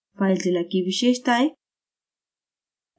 filezilla की विशेषताएँ